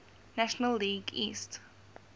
national league east